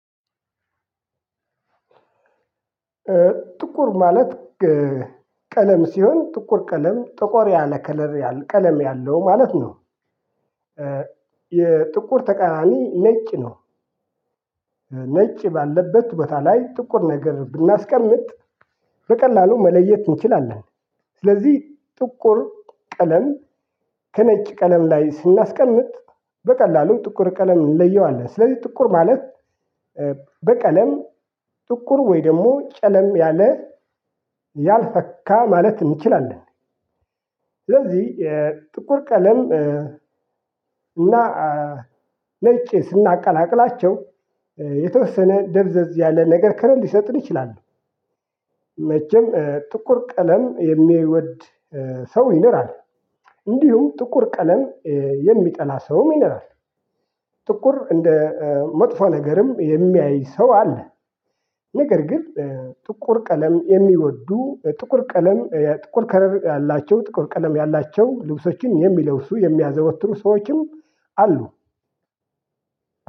ጥቁር ማለት ቀለም ሲሆን ጥቁር ቀለም ጠቆር ያለ ከለር ያል ቀለም ያለው ማለት ነው። የጥቁር ተቃራኒ ነጭ ነው። ነጭ ባለበት ቦታ ላይ ጥቁር ነገር ብናስቀምጥ በቀላሉ መለየት እንችላለን። ስለዚህ ጥቁር ቀለም ከነጭ ቀለም ላይ ስናስቀምጥ በቀላሉ ጥቁር ቀለም እንለየዋለን። ስለዚህ ጥቁር ማለት በቀለም ጥቁር ወይ ደግሞ ጨለም ያለ ያልፈካ ማለት እንችላለን። ስለዚህ የጥቁር ቀለም እና ነጭ ስናቀላቅላቸው የተወሰነ ደብዘዝ ያለ ነገር ከረር ሊሰጠን ይችላል። መቼም ጥቁር ቀለም የሚወድ ሰው ይኖራል። እንዲህም ጥቁር ቀለም የሚጠላ ሰውም ይኖራል። ጥቁር እንደመጥፎ ነገርም የሚያይ ሰው አለ። ነገር ግን ጥቁር ቀለም የሚወዱ ጥቁር ቀለም የ ጥቁር ከረር ያላቸው ጥቁር ቀለም ያላቸው ልብሶችን የሚለብሱ የሚያዘወትሩ ሰዎችም አሉ።